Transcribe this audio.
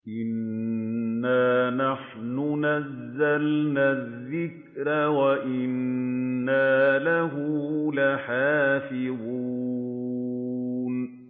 إِنَّا نَحْنُ نَزَّلْنَا الذِّكْرَ وَإِنَّا لَهُ لَحَافِظُونَ